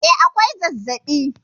E, akwai zazzabi